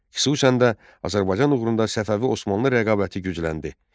Xüsusən də Azərbaycan uğrunda Səfəvi Osmanlı rəqabəti gücləndi.